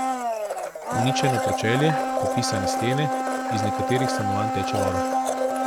Uničeno pročelje, popisane stene, iz nekaterih stanovanj teče voda.